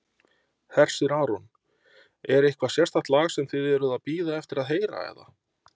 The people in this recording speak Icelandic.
Hersir Aron: Er eitthvað sérstakt lag sem þið eruð að bíða eftir að heyra eða?